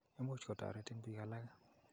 Imuch kotoretin piik alake.